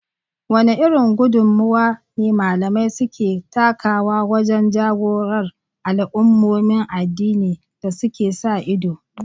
Wane irin gudummuwa ne malamai suke takawa wajen jagorantar al’ummomin addini da suke sa ido?